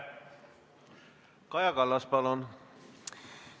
Kaja Kallas, palun!